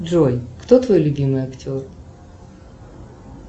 джой кто твой любимый актер